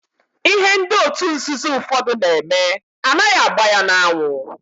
Ihe ndị otu nzuzo ụfọdụ na-eme anaghị agba ya n'anwụ.